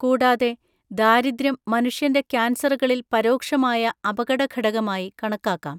കൂടാതെ, ദാരിദ്ര്യം മനുഷ്യന്‍റെ കാൻസറുകളിൽ പരോക്ഷമായ അപകടഘടകമായി കണക്കാക്കാം.